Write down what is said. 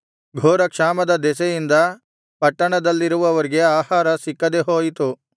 ಘೋರಕ್ಷಾಮದ ದೆಸೆಯಿಂದ ಪಟ್ಟಣದಲ್ಲಿರುವವರಿಗೆ ಆಹಾರ ಸಿಕ್ಕದೇ ಹೋಯಿತು